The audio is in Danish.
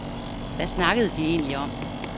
Hvad snakkede de egentlig om?